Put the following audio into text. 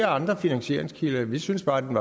andre finansieringskilder vi synes bare at den